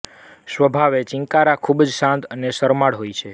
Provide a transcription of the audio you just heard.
સ્વભાવે ચિંકારા ખૂબ જ શાંત અને શરમાળ હોય છે